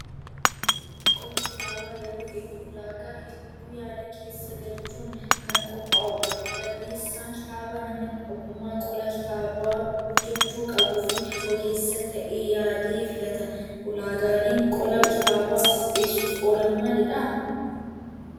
Qolli kitaabaa yeroo hedduu ulaagaa hedduu yaada keessa galchuun kan qophaa'udha. Barreessaan kitaabaa nama ogummaa qola kitaabaa hojjachuu qabuu fi ogeessa ta'e yaadee filata. Ulaagaaleen qola kitaabaa qopheessuuf oolan maalidhaa?